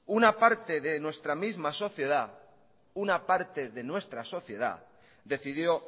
una parte de nuestra misma sociedad decidió